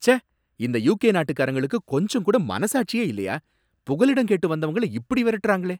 ச்சே! இந்த யுகே நாட்டுக்காரங்களுக்கு கொஞ்சங்கூட மனசாட்சி இல்லையா, புகலிடம் கேட்டு வந்தவங்கள இப்படி விரட்டுறாங்களே!